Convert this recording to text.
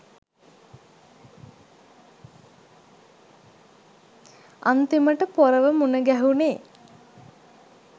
අන්තිමට පොරව මුන ගැහුනේ